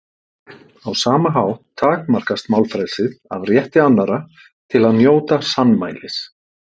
Á sama hátt takmarkast málfrelsið af rétti annarra til að njóta sannmælis.